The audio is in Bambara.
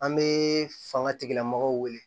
An bɛ fanga tigilamɔgɔw wele